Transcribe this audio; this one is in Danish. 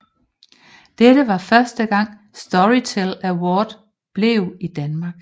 Dette var første gang Storytel Awards blev i Danmark